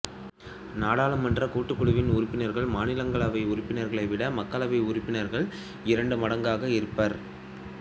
நாடாளுமன்றக் கூட்டுக் குழுவின் உறுப்பினர்கள் மாநிலங்களவை உறுப்ப்பினர்கள் விட மக்களவை உறுப்பினர்கள் இரண்டு மடங்காக இருப்பர்